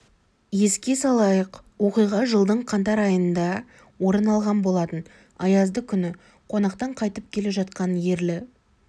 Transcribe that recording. еске салайық оқиға жылдың қаңтар айында орын алған болатын аязды күні қонақтан қайтып келе жатқан ерлі